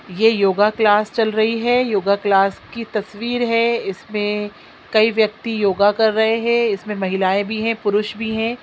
ये योगा क्लास चल रही है यह क्लास की तस्वीर है इसमें कई व्यक्ति योगा कर रहे हैं इसमें महिलाएं भी हैं पुरुष भी हैं।